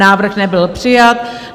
Návrh nebyl přijat.